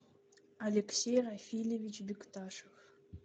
алексей рафильевич бекташев